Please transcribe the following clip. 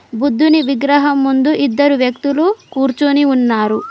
బుద్ధుని విగ్రహం ముందు ఇద్దరు వ్యక్తులు కుర్చొని ఉన్నారు.